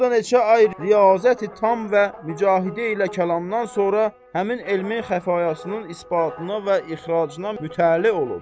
Və burda neçə ay riyazət-i tam və mücahidə ilə kəlamdan sonra həmin elmi-xafiyasının isbatına və ixracına mütəlli olub.